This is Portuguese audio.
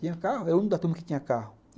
Eu o único da turma que tinha carro.